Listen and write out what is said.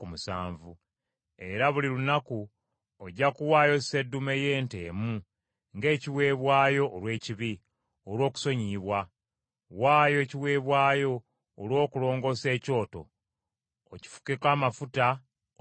era buli lunaku ojja kuwaayo seddume y’ente emu ng’ekiweebwayo olw’ekibi, olw’okusonyiyibwa. Waayo ekiweebwayo olw’okulongoosa ekyoto, okifukeko amafuta, okitukuze.